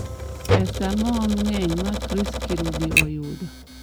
pesa maom ng'eny ma chris kirubi oyudo?